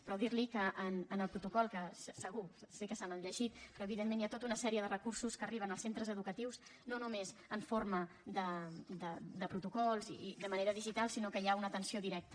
però dir li que en el protocol que segur sé que se l’han llegit però evidentment hi ha tota una sèrie de recursos que arriben als centres educatius no només en forma de protocols i de manera digital sinó que hi ha una atenció directa